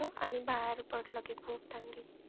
आणि बाहेर पडलं की खूप थंडी.